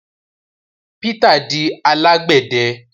Peter di alagbẹdẹ